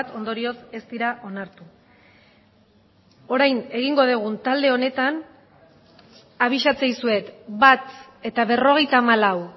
ondorioz ez dira onartu orain egingo dugun talde honetan abisatzen dizuet bat eta berrogeita hamalau